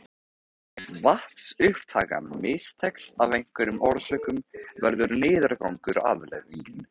Ef vatnsupptakan mistekst af einhverjum orsökum verður niðurgangur afleiðingin.